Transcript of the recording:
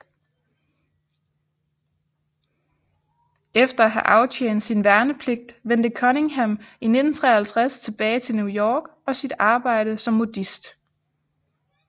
Efter at have aftjent sin værnepligt vendte Cunningham i 1953 tilbage til New York og sit arbejde som modist